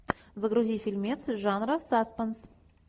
загрузи фильмец жанра саспенс